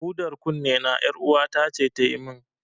Hudar kunnena, ƴaruwata ce ta yi min.